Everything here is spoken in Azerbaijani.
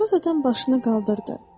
İşbaz adam başını qaldırdı.